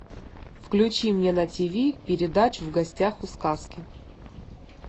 включи мне на тв передачу в гостях у сказки